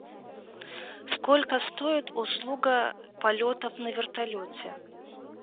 сколько стоит услуга полетов на вертолете